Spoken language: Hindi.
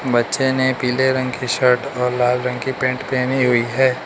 बच्चे ने पीले रंग की शर्ट और लाल रंग की पैंट पहनी हुई है।